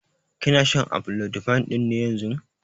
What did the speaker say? Kina shan amlodipine ɗin ne yanzun?